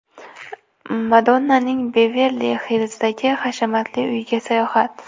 Madonnaning Beverli-Hillzdagi hashamatli uyiga sayohat .